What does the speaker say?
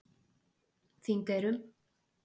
Þingeyrum